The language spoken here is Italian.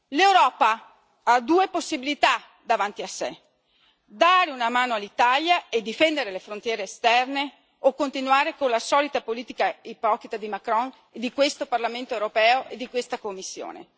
L'Europa ha due possibilità davanti a sé dare una mano all'Italia e difendere le frontiere esterne o continuare con la solita politica ipocrita di Macron e di questo Parlamento europeo e di questa Commissione.